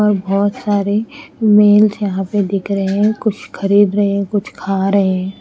और बहोत सारे मेल्स यहां पे दिख रहे हैं कुछ खरीद रहे है कुछ खा रहे--